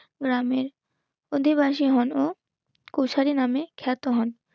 গ্রামে অধিবাসী হল কুসারী নামে খ্যাত হন